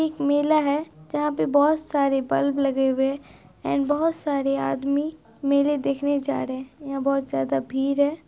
एक मेला है जहाँ पे बहुत सारे बल्ब लगे हुए एंड बहुत सारे आदमी मेले देखने जा रहे हैं| यहाँ बहुत ज्यादा भीड़ है।